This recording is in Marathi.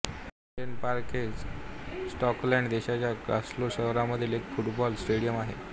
हॅम्पडेन पार्क हे स्कॉटलंड देशाच्या ग्लासगो शहरामधील एक फुटबॉल स्टेडियम आहे